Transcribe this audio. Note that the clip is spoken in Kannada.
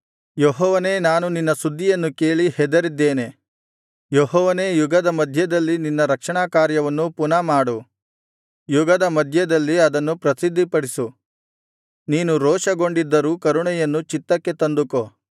ಯೆಹೋವನೇ ನಾನು ನಿನ್ನ ಸುದ್ದಿಯನ್ನು ಕೇಳಿ ಹೆದರಿದ್ದೇನೆ ಯೆಹೋವನೇ ಯುಗದ ಮಧ್ಯದಲ್ಲಿ ನಿನ್ನ ರಕ್ಷಣಾಕಾರ್ಯವನ್ನು ಪುನಃ ಮಾಡು ಯುಗದ ಮಧ್ಯದಲ್ಲಿ ಅದನ್ನು ಪ್ರಸಿದ್ಧಿಪಡಿಸು ನೀನು ರೋಷಗೊಂಡಿದ್ದರೂ ಕರುಣೆಯನ್ನು ಚಿತ್ತಕ್ಕೆ ತಂದುಕೋ